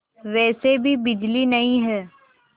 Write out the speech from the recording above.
वैसे भी बिजली नहीं है